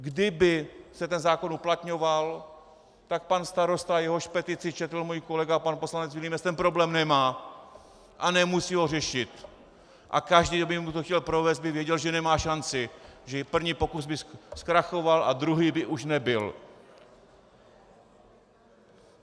Kdyby se ten zákon uplatňoval, tak pan starosta, jehož petici četl můj kolega pan poslanec Vilímec, ten problém nemá a nemusí ho řešit a každý, kdo by mu to chtěl provést, by věděl, že nemá šanci, že první pokus by zkrachoval a druhý by už nebyl.